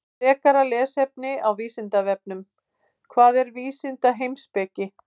Frekara lesefni á Vísindavefnum: Hvað er vísindaheimspeki?